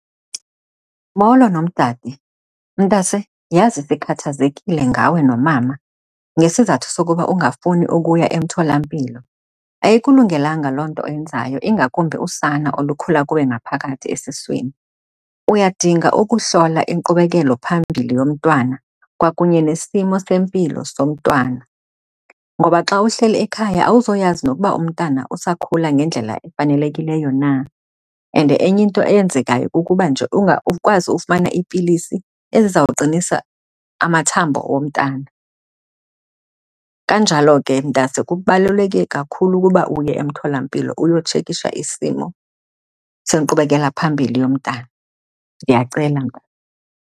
Molo, nomdade. Mntase, yhazi ndikhathazekile ngawe nomama ngesizathu sokuba ungafuni ukuya emtholampilo. Ayikulungelanga loo nto oyenzayo ingakumbi usana olukhula kuwe ngaphakathi esiswini. Uyadinga ukuhlola inkqubekelophambili yomntwana kwakunye nesimo sempilo somntwana, ngoba xa uhleli ekhaya awuzoyazi nokuba umntana usakhula ngendlela efanelekileyo na. And enye into eyenzekayo kukuba nje ungakwazi ufumana iipilisi ezizawuqinisa amathambo omntana. Kanjalo ke mntase kubaluleke kakhulu ukuba uye emtholampilo uyotshekisha isimo senkqubekela phambili yomntana. Ndiyacela, mntase.